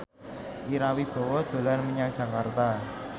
Ira Wibowo dolan menyang Jakarta